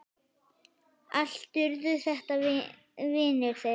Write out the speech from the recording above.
Allt urðu þetta vinir þeirra.